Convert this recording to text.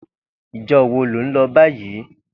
Ijò wó ló n lò bàyí?